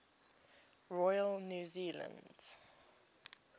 royal new zealand